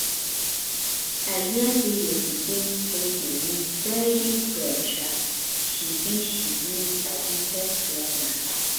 i hear say your pikin don dey knit very well um she be she be um fast learner